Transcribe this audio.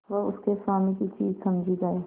वह उसके स्वामी की चीज समझी जाए